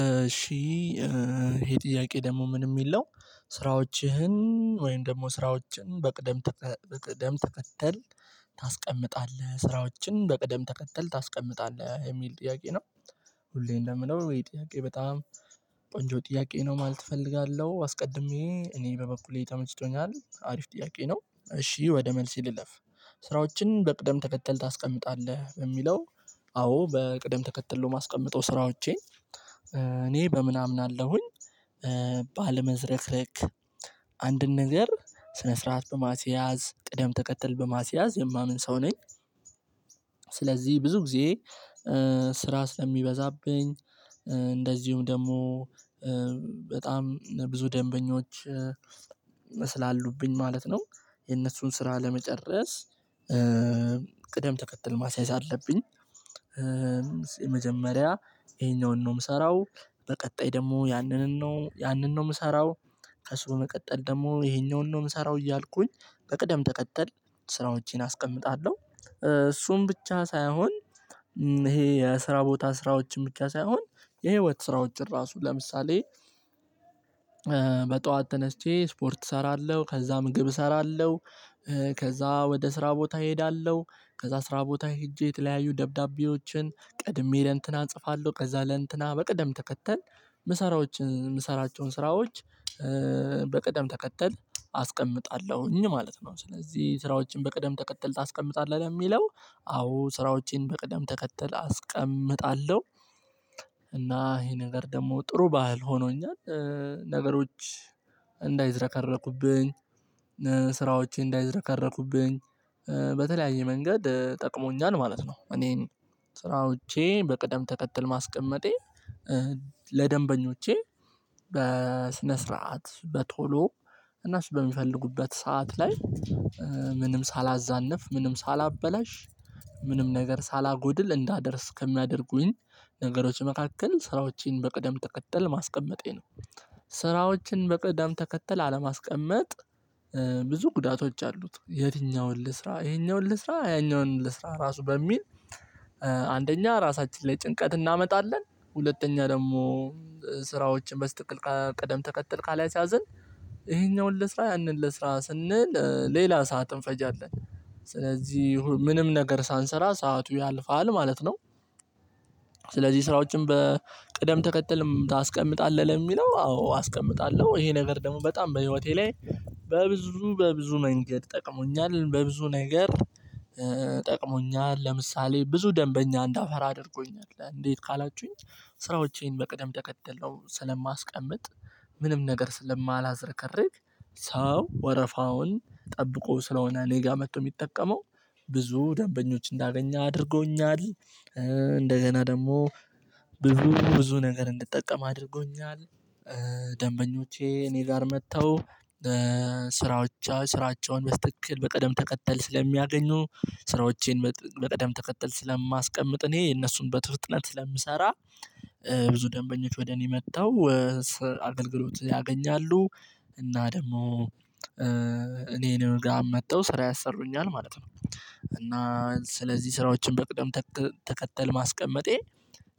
እሺ ይሄ ጥያቄ ደግሞ ምን የሚል ነው? ስራዎችህን ወይም ደግሞ ስራዎችን በቅደም በቅደም ተከተል ታስቀምጣለህ ስራዎችን በቅደም ተከተል ታስቀምጣለህ የሚል ጥያቄ ነው። ሁሌ እንደምለው ይሄ ጥያቄ በጣም ቆንጆ ጥያቄ ነው። ማለት እፈልጋለሁ አስቀድሜ እኔ በበኩሌ ተመችቶኛል አሪፍ ጥያቄ ነው። እሺ ወደ መልሴ ልለፍ። ስራዎችን በቅደም ተከተል ታስቀምጣለህ በሚለው አዎ በቅደም ተከተል ነው የማስቀምጠው ስራዎቼን። እኔ በምን አምናለሁኝ። ባለመዝረክረክ አንድን ነገር ስነ ስርዓት በማስያዝ ቅደም ተከተል በማስያዝ የማምን ሰው ነኝ። ስለዚህ ብዙ ጊዜ ስራ ስለሚበዛብኝ እንደዚሁም ደግሞ በጣም ብዙ ደንበኞች ስላሉብኝ ማለት ነው። የነሱን ስራ ለመጨረስ ቅደም ተከተል ማስያዝ አለብኝ። የመጀመሪያ ይሄኛውን ነው የምሰራው በቀጣይ ደግሞ ያንንን ነው ያንን ነው የምሰራው ከሱ በመቀጠል ደግሞ ይሄኛውን ነው የምሰራው እያልኩኝ በቅደም ተቀጠል ስራዎቼን አስቀምጣለሁ። እሱም ብቻ ሳይሆን ይሄ የስራ ቦታ ስራዎችን ብቻ ሳይሆን የህይወት ስራዎችን ራሱ ለምሳሌ በጠዋት ተነስቼ ስፖርት እሰራለሁ ከዛ ምግብ እሰራለሁ። ከዛ ወደ ስራ ቦታ እሄዳለሁ። ከዛ ስራ ቦታ ሄጄ የተለያዩ ደብዳቤዎችን ቀድሜ ለእንትና እጽፋለሁ ከዛ ለእንትና በቅደም ተከተል ምሰራዎች የምሰራቸውን ስራዎች በቅደም ተከተል አስቀምጣለሁኝ ማለት ነው። ስለዚህ ስራዎችን በቅደም ተከተል ታስቀምጣለህ ለሚለው አዎ ስራዎቼን በቅደም ተከተል አስቀምጣለሁ። እና ይሄ ነገር ደግሞ ጥሩ ባህል ሆኖኛል። ነገሮች እንዳይዝረከረኩብኝ ስራዎቼ እንዳይዝረከረኩብኝ በተለያየ መንገድ ጠቅሞኛል ማለት ነው። እኔን ስራዎቼ በቅደም ተከትል ማስቀመጤ ለደንበኞቼ በስነ ስርዓት በቶሎ እና በሚፈልጉበት ሰዓት ላይ ምንም ሳላዛንፍ ምንም ሳላበላሽ ምንም ነገር ሳላጎድል እንዳደርስ ከሚያደርጉኝ ነገሮች መካከል ስራዎችን በቅደም ተከተል ማስቀመጤ ነው። ስራዎችን በቅደም ተከተል አለማስቀመጥ ብዙ ጉዳቶች አሉት። የትኛውን ልስራ ይሄኛውን ልስራ ያኛውን ልስራ ራሱ በሚል አንደኛ ራሳችን ላይ ጭንቀት እናመጣለን። ሁለተኛ ደግሞ ስራዎችን በስህተቀል ቀደም ተከትል ካላስያዘን ይሄኛውን ለስራ ያንን ለስራ ስንል ሌላ ሰዓት እንፈጃለን። ስለዚህ ምንም ነገር ሳንሰራ ሰዓቱ ያልፋል ማለት ነው። ስለዚህ ስራዎችን በቅደም ተከተልም ታስቀምጣለህ ለሚለው አዎ አስቀምጣለሁ። ይሄ ነገር ደግሞ በጣም በህይወቴ ላይ በብዙ በብዙ መንገድ ጠቅሞኛል በብዙ ነገር ጠቅሞኛል። ለምሳሌ ብዙ ደንበኛ እንዳፈራ አድርጎኛል እንዴት ካላችሁኝ? ስራዎቼን በቅደም ተከተል ነው ስለማስቀምጥ ምንም ነገር ስለማላዝረከርክ ሰው ወረፋውን ጠብቆ ስለሆነ እኔ ጋ መጥቶ የሚጠቀመው ብዙ ደንበኞች እንዳገኛ አድርጎኛል። እንደገና ደግሞ ብዙ ብዙ ነገር እንድጠቀም አድርጎኛል። ደንበኞቼ እኔ ጋር መጥተው ስራዎቻቸውን በስተክል በቀደም ተቀጠል ስለሚያገኙ ስራዎቼን በቀደም ተከተል ስለማስቀምጥ እኔ የነሱን በፍጥነት ስለምሰራ ብዙ ደንበኞች ወደ እኔ መጥተው አገልግሎት ያገኛሉ። እና ደግሞ እኔን ጋር መጥተው ስራ ያሰሩኛል ማለት ነው። እና ስለዚህ ስራዎችን በቅደም ተከተል ማስቀመጤ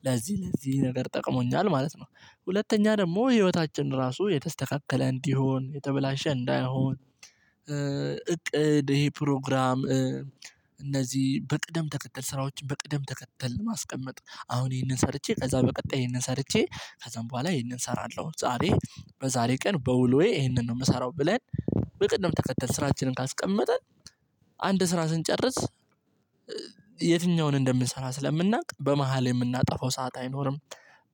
ለዚህ ለዚህ ነገር ጠቅሞኛል ማለት ነው። ሁለተኛ ደግሞ ህይወታችን ራሱ የተስተካከለ እንዲሆን የተበላሸ እንዳይሆን። እቅድ ይሄ ፕሮግራም እነዚህ በቅደም ተከተል ስራዎችን በቅደም ተከተል ማስቀመጥ አሁን ይሄንን ሰርቼ ከዛ በቀጣይ ይሄንን ሰርቼ ከዛም በኋላ ይሄንን እሰራለሁ። ዛሬ በዛሬ ቀን በውሎዬ ይሄንን ነው የምሰራው ብለን በቅድም ተከተል ስራችንን ካስቀመጠን አንድ ስራ ስንጨርስ የትኛውን እንደምንሰራ ስለምናውቅ በመሃል የምናጠፋው ሰዓት አይኖርም።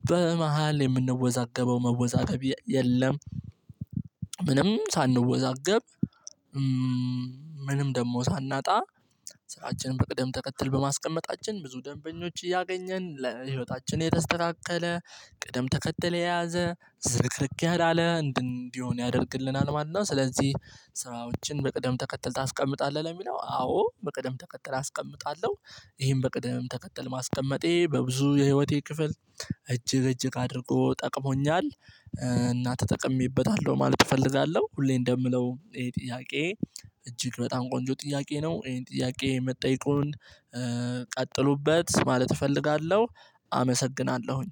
በመሃል የምንወዛገበው መወዛገብ የለም። ምንም ሳንወዛገብ ምንም ደግሞ ሳናጣ ስራችንን በቅደም ተከትል በማስቀመጣችን ብዙ ደንበኞች እያገኘን ለህይወታችን የተስተካከለ ቅደም ተከተለ የያዘ ዝርክርክ ያለ እንዲሆን ያደርግልናል። ማለት ነው። ስለዚህ ስራዎችን በቅደም ተከተልተህ አስቀምጣለሁ ለሚለው አዎ በቅደም ተከተል አስቀምጣለሁ። ይሄን በቅደም ተከተል ማስቀመጤ በብዙ የህይወቴ ክፍል እጅግ እጅግ አድርጎ ጠቅሞኛል። እና ተጠቅሜበታለሁ ማለት እፈልጋለሁ። ሁሌ እንደምለው ጥያቄ እጅግ በጣም ቆንጆ ጥያቄ ነው። ይሄን ጥያቄ መጠየቁን ቀጥሉበት ማለት እፈልጋለሁ። አመሰግናለሁኝ